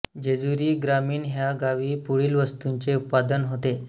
जेजुरी ग्रामीण ह्या गावी पुढील वस्तूंचे उत्पादन होते